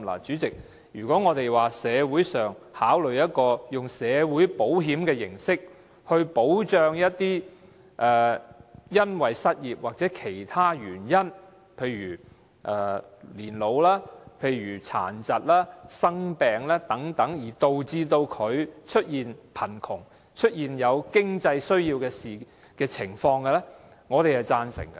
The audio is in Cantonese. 主席，如果當局考慮以社會保險形式來保障因失業或年老、殘疾、生病等其他原因而導致貧窮及有經濟需要的人士，我們是贊成的。